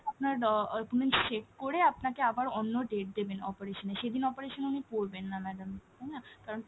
আপনার document check করে আপনাকে আবার অন্য date দেবেন operation এর, সেদিন operation উনি করবেন না madam তাইনা? কারন